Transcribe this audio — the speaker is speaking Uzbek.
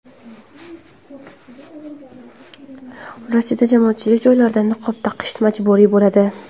Rossiyada jamoatchilik joylarida niqob taqish majburiy bo‘ladi.